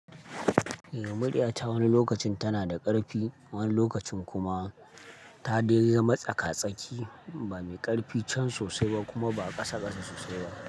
Eh, muriya ta wani lokacin tana da ƙarfi, wani lokacin kuma ta dai riƙe matsaka tsaki, ba mai ƙarfi can sosai ba kuma ba ƙasa ƙasa sosai ba.